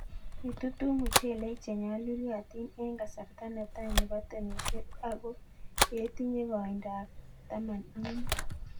Itutu muchelek che nyaluliotieng eng' kasarta ne tai nebo temishet akoo yetinye koindo ab taman ak mut